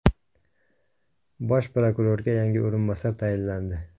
Bosh prokurorga yangi o‘rinbosar tayinlandi.